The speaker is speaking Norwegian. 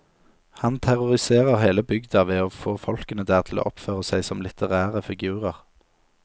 Han terroriserer hele bygda ved å få folkene der til å oppføre seg som litterære figurer.